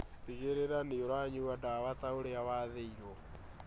Tigĩrĩra nĩũranyua ndawa ta ũrĩa wathĩirwo